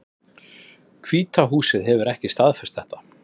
Hvíta húsið hefur ekki staðfest þetta